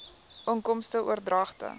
inkomste oordragte